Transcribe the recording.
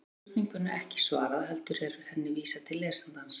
Hér verður spurningunni ekki svarað heldur er henni vísað til lesandans.